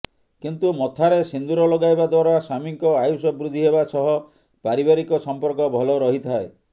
କିନ୍ତୁ ମଥାରେ ସିନ୍ଦୁର ଲଗାଇବା ଦ୍ବାରା ସ୍ବାମୀଙ୍କ ଆୟୁଷ ବୃଦ୍ଧି ହେବା ସହ ପାରିବାରିକ ସମ୍ପର୍କ ଭଲ ରହିଥାଏ